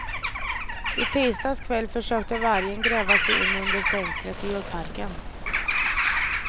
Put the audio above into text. I tisdags kväll försökte vargen gräva sig in under stängslet till djurparken.